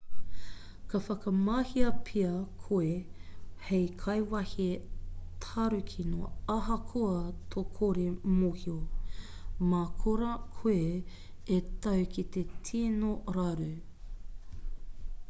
ka whakamahia pea koe hei kaikawe tarukino ahakoa tō kore mōhio mā korā koe e tau ki te tino raru